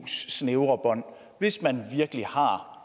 snævre bånd hvis man virkelig har